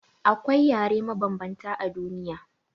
Akwai yare mabanbanta a duniya.